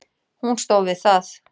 Hún stóð við það.